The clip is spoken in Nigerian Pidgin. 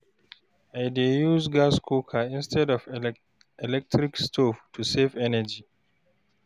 I dey use gas cooker instead of electric stove to save energy.